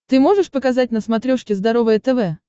ты можешь показать на смотрешке здоровое тв